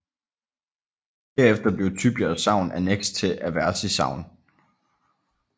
Derefter blev Tybjerg Sogn anneks til Aversi Sogn